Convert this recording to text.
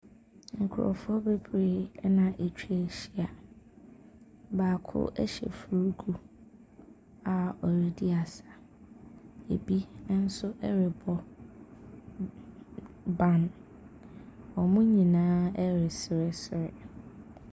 Nkorɔfoɔ bebree ɛna atwa ahyia, baako ɛhyɛ fuugu a ɔredi asa, ebi ɛnso ɛrebɔ ban, ɔmo nyinaa ɛresresre.